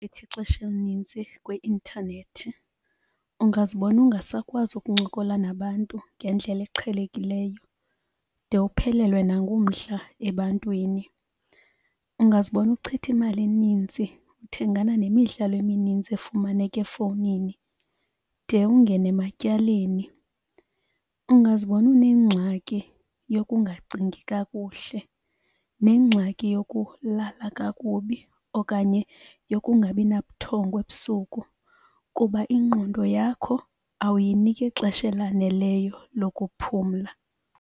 Ithi ixesha elinintsi kwi-intanethi ungazibona ungasakwazi ukuncokola nabantu ngendlela eqhelekileyo de uphelelwe nangumdla ebantwini. Ungazibona uchitha imali eninzi uthengana nemidlalo eminintsi efumaneka efowunini de ungene ematyaleni. Ungazibona unengxaki yokungacingi kakuhle, nengxaki yokulala kakubi, okanye yokungabi nabuthongo ebusuku kuba ingqondo yakho awuyiniki ixesha elaneleyo lokuphumla.